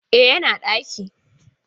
E, yana a ɗaki.